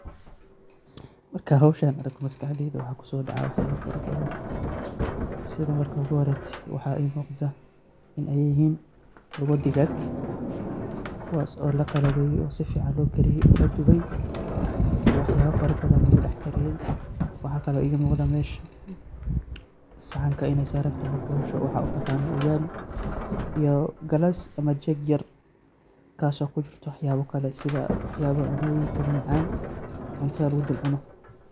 Markaan howshan arko maskaxdeyda waxaa kusoo dacaaya wax yaaba fara badan, sida marka hore waxaa ii muqda inaay yihiin lugo digaag kuwaas oo laqalabeeye oo si fican loo kariye ladube, oo wax yaaba fara badan lagu dex kariye, waxaa kale oo ii muqdaa meesha saxanka inaay saran tahay boosho waxaa utaqaano ugali iyo galaas ama jeeg yar kaas oo kujirto wax yaaba kale sida wax yaaba cunooyinka mamacaan oo cuntada lagu dul cuno.